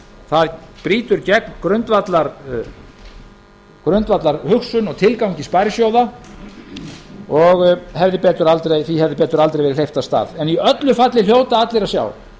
það brýtur gegn grundvallarhugsun og tilgangi sparisjóða og því hefði betur aldrei verið hleypt af stað í öllu falli hljóta allir að sjá